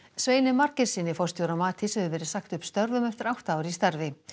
Sveini Margeirssyni forstjóra Matís hefur verið sagt upp störfum eftir átta ár í starfi